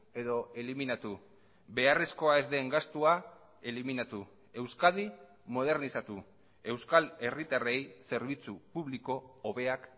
edo eliminatu beharrezkoa ez den gastua eliminatu euskadi modernizatu euskal herritarrei zerbitzu publiko hobeak